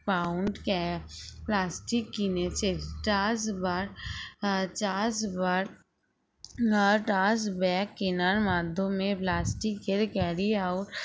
pound ca plastic কিনেছে trash bag আহ trash bag trash bag কেনার মাধ্যমে plastic এর carry out